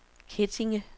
Kettinge